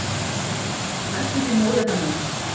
Sem er næstum því móðir hennar.